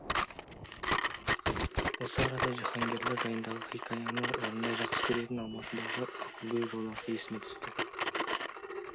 осы арада жиһангерлер жайындағы хикаяны жанындай жақсы көретін алматыдағы ақылгөй жолдасы есіме түсті